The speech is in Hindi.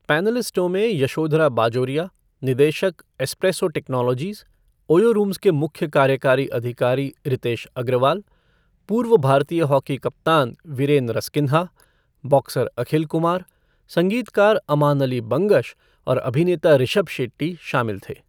पैनलिस्टों में यशोधरा बाजोरिया, निदेशक, एस्प्रेसो टेक्नोलॉजीज़, ओयो रूम्स के मुख्य कार्यकारी अधिकारी रितेश अग्रवाल, पूर्व भारतीय हॉकी कप्तान वीरेन रसकिन्हा, बॉक्सर अखिल कुमार, संगीतकार अमान अली बंगश और अभिनेता ऋषभ शेट्टी शामिल थे।